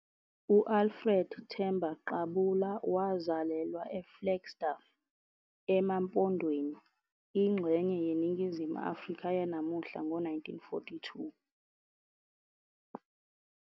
U-Alfred Themba Qabula wazalelwa eFlagstaff, eMampondweni, ingxenye yeNingizimu Afrika yanamuhla ngo-1942.